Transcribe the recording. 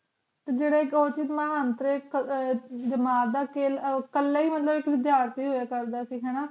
ਕੱਲਾ ਹੁਨਰ ਕੁੱਝ ਜਾਣਦੇ ਹੋਏ ਅਕਲ ਦਾ ਕਹਿਣਾ ਹੈ ਕਿ ਉਸ ਨੇ ਪੂਰੇ ਸਕੂਲ ਦਾ ਵਿਦਿਆਰਥੀ ਹੋਣ ਦੀ ਉਮੀਦ